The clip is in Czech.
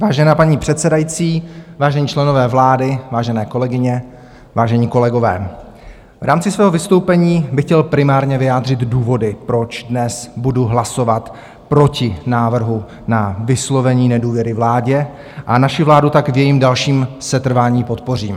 Vážená paní předsedající, vážení členové vlády, vážené kolegyně, vážení kolegové, v rámci svého vystoupení bych chtěl primárně vyjádřit důvody, proč dnes budu hlasovat proti návrhu na vyslovení nedůvěry vládě a naši vládu tak v jejím dalším setrvání podpořím.